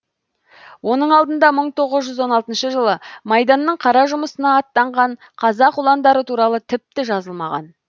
оның алдында мың тоғыз жүз он алтыншы жылы майданның қара жұмысына аттанған қазақ ұландары туралы тіпті жазылмаған